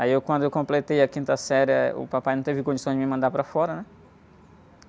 Aí, eu, quando eu completei a quinta série, eh, o papai não teve condição de me mandar para fora, né?